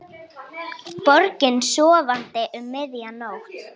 Borgin sofandi um miðja nótt.